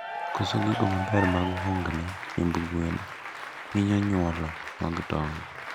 Koso gigo maber mag hungne chiemb gwen hinyo nyuolo mag tong